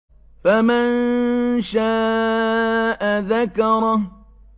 فَمَن شَاءَ ذَكَرَهُ